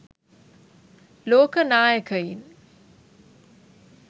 ලෝක නායකයින්